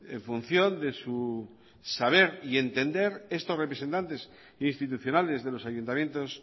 en función de su saber y entender estos representantes institucionales de los ayuntamientos